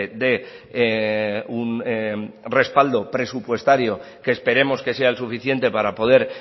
de un respaldo presupuestario que esperemos que sea el suficiente para poder